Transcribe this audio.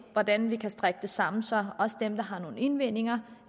hvordan vi kan strikke det sammen så også dem der har nogle indvendinger